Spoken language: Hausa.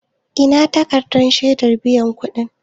Ina takarɗan shedar biyan kuɗin?